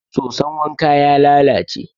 soson wanka ya lalace